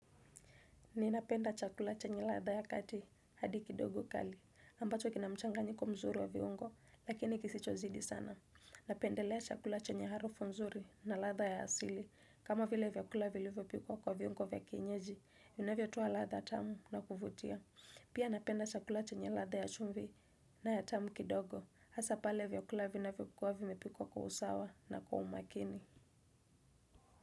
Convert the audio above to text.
Ninapenda chakula chenye latha ya kati hadi kidogo kali, ambacho kina mchanga nyiko mzuri wa viungo lakini kisichozidi sana. Napendelea chakula chenye harufu mzuri na latha ya asili, kama vile vyakula vilivyo pikuwa kwa viungo vya kienyeji, unavyotowa latha tamu na kufutia. Pia napenda chakula chenye ladha ya chumvi na ya tamu kidogo, hasa pale vyakulavi navyo kuwavi mepikwa kwa usawa na kwa umakini.